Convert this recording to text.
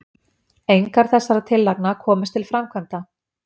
engar þessara tillagna komust til framkvæmda